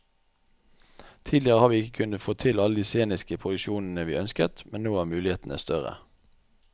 Tidligere har vi ikke kunnet få til alle de sceniske produksjonene vi ønsket, men nå er mulighetene større.